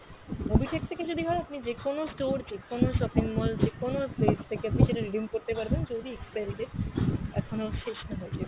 mobitech থেকে যদি হয় আপনি যেকোনো store, যেকোনো shopping mall, যেকোনো আপনি সেটা redeem করতে পারবেন যদি expiry date এখনো শেষ না হয়ে গিয়ে